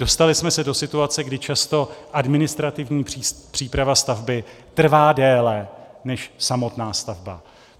Dostali jsme se do situace, kdy často administrativní příprava stavby trvá déle než samotná stavba.